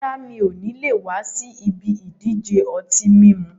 Rárá, mi ò le wa si ibi ìdíje ọtí mímu